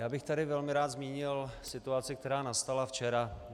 Já bych tady velmi rád zmínil situaci, která nastala včera.